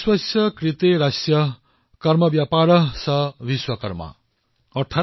আমাৰ শাস্ত্ৰৰ দৃষ্টিত আমাৰ চাৰিওফালে নিৰ্মাণ আৰু সৃষ্টিত নিয়োজিত সকলোবোৰ দক্ষ লোক হৈছে ভগৱান বিশ্বকৰ্মাৰ উত্তৰাধিকাৰী